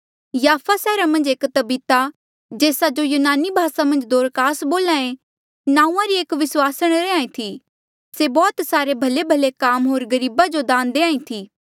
याफा सैहरा मन्झ एक तबीता जेस्सा जो यूनानी भासा दोरकास बोल्हे नांऊँआं री एक विस्वासण रैंहयां ईं थी से बौह्त सारे भलेभले काम होर गरीबा जो दान देहां ईं थी